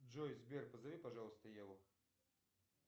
джой сбер позови пожалуйста еву